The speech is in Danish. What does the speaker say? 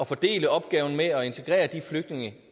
fordele opgaven med at integrere de flygtninge